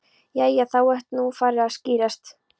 Jæja. þá er þetta nú farið að skýrast.